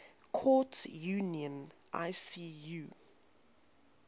courts union icu